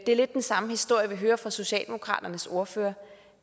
er lidt den samme historie vi hører fra socialdemokraternes ordfører